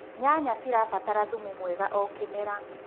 nyanya cirabatara thumu mwega o kĩmera